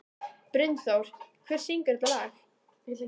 Brynþór, hver syngur þetta lag?